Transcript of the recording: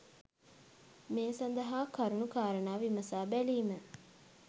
මේ සඳහා කරුණු කාරණා විමසා බැලීම